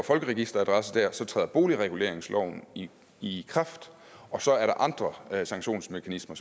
folkeregisteradresse der træder boligreguleringsloven i i kraft og så er der andre sanktionsmekanismer